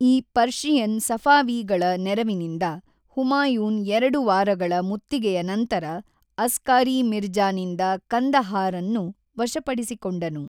ಈ ಪರ್ಷಿಯನ್ ಸಫಾವೀಗಳ ನೆರವಿನಿಂದ ಹುಮಾಯೂನ್ ಎರಡು ವಾರಗಳ ಮುತ್ತಿಗೆಯ ನಂತರ ಅಸ್ಕಾರಿ ಮಿರ್ಜಾನಿಂದ ಕಂದಹಾರನ್ನು ವಶಪಡಿಸಿಕೊಂಡನು.